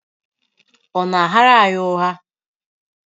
Ọ na-aghara anyị ụgha?